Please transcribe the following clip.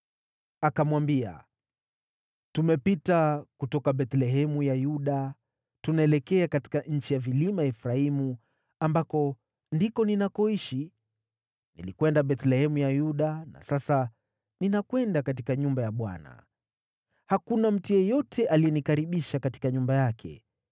Akamwambia, “Tumepita kutoka Bethlehemu ya Yuda, tunaelekea katika nchi ya vilima ya Efraimu, ambako ndiko ninakoishi. Nilikwenda Bethlehemu ya Yuda na sasa ninakwenda katika nyumba ya Bwana . Hakuna mtu yeyote aliyenikaribisha katika nyumba yake.